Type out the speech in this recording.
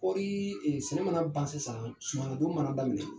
Kɔrii sɛnɛ mana ban sisan, suman nadon mana daminɛ